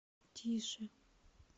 тише